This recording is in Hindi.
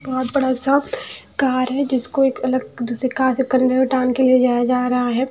बहुत बड़ा सा कार है जिसको एक अलग दूसरी कार से कंधे में टाँग के ले जाया जा रहा है।